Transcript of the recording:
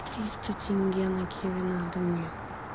триста теньге на киви надо мне